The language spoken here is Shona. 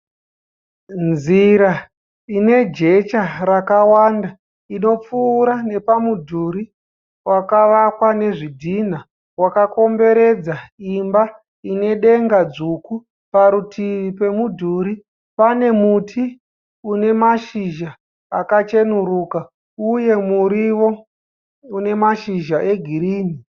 Nzira inejecha rakawanda, inopfura nepamudhuru wakavakwa nezvidhina wakakomberedza imba inedenga svuku. Parutivi pemudhuri panemuti unemashizha akacheneruka uye muriwo unemashizha egirini.